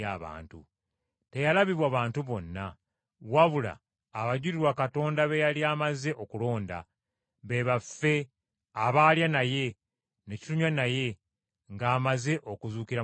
Teyalabibwa bantu bonna, wabula abajulirwa Katonda be yali amaze okulonda, be baffe abaalya naye, ne tunywa naye ng’amaze okuzuukira mu bafu.